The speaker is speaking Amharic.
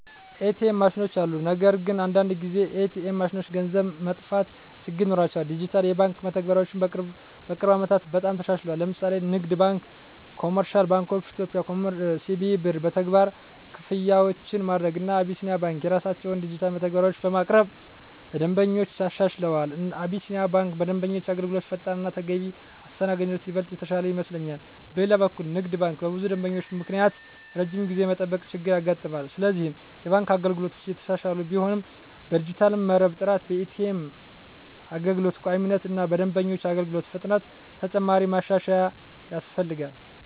ኤ.ቲ.ኤም ማሽኖች አሉ። ነገር ግን አንዳንድ ጊዜ ኤ.ቲ.ኤም ማሽኖች ገንዘብ መጥፋት ችግር ይኖራቸዋል። ዲጂታል የባንክ መተግበሪያዎች በቅርብ ዓመታት በጣም ተሻሽለዋል። ለምሳሌ ንግድ ባንክ(CBE) በCBE Birr መተግበሪያ ክፍያዎችን ማድረግ፣ እና አቢሲኒያ ባንክ የራሳቸውን ዲጂታል መተግበሪያዎች በማቅረብ ለደንበኞች አሻሽለዋል። አቢሲኒያ ባንክ በደንበኞች አገልግሎት ፈጣንነት እና ተገቢ አስተናጋጅነት ይበልጥ የተሻለ ይመስለኛል። በሌላ በኩል ንግድ ባንክ በብዙ ደንበኞች ምክንያት ረጅም ጊዜ የመጠበቅ ችገር ያጋጥማል፤ ስለዚህ የባንክ አገልግሎቶች እየተሻሻሉ ቢሆንም በዲጂታል መረብ ጥራት፣ በኤ.ቲ.ኤም አገልግሎት ቋሚነት እና በደንበኞች አገልግሎት ፍጥነት ተጨማሪ ማሻሻያ ያስፈልጋል።